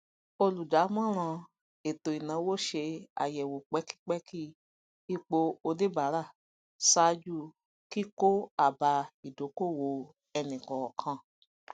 olùdàmòràn eto ináwó ṣe àyẹwò pẹkipẹki ipo oníbára ṣáájú kíkó àbá ìdókòwò ẹnikọọkan